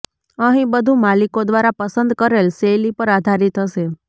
અહીં બધું માલિકો દ્વારા પસંદ કરેલ શૈલી પર આધારિત હશે